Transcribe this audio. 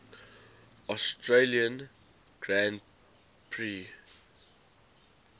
australian grand prix